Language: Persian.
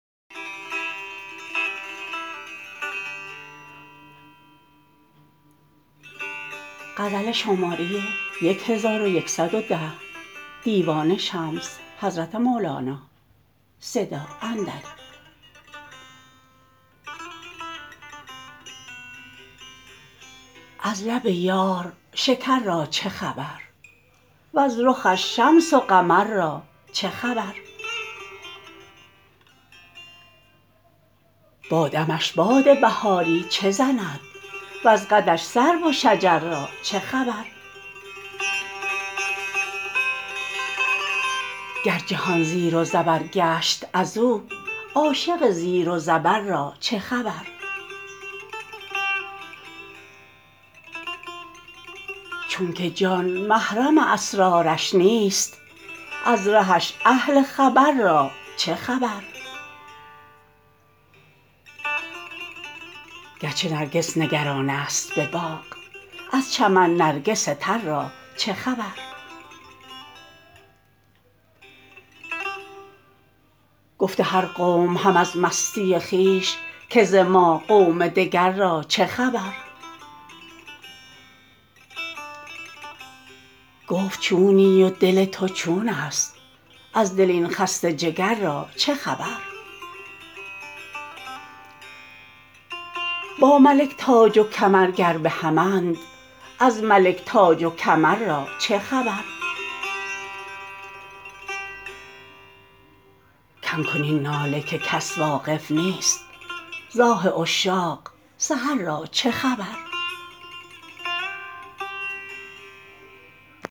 از لب یار شکر را چه خبر وز رخش شمس و قمر را چه خبر با دمش باد بهاری چه زند وز قدش سرو و شجر را چه خبر گر جهان زیر و زبر گشت از او عاشق زیر و زبر را چه خبر چونک جان محرم اسرارش نیست از رهش اهل خبر را چه خبر گرچه نرگس نگرانست به باغ از چمن نرگس تر را چه خبر گفته هر قوم هم از مستی خویش که ز ما قوم دگر را چه خبر گفت چونی و دل تو چونست از دل این خسته جگر را چه خبر با ملک تاج و کمر گر به همند از ملک تاج و کمر را چه خبر کم کن این ناله که کس واقف نیست ز آه عشاق سحر را چه خبر